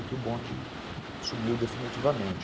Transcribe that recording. que o bonde sumiu definitivamente.